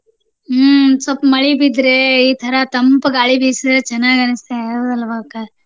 ಹ್ಮ ಸ್ವಪ ಮಳಿ ಬಿದ್ರೆ ಈ ತರ ತಂಪ ಗಾಳಿ ಬಿಸಿದ್ರ ಚೆನ್ನಾಗಿ ಅನ್ಸುತ್ತೆ ಹೌದಲ್ವಾ ಅಕ್ಕಾ?